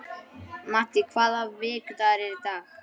Maddý, hvaða vikudagur er í dag?